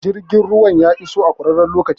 Jirgin ruwan ya iso a ƙurarren lokaci